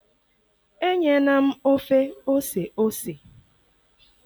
enyena m ofe ose ose!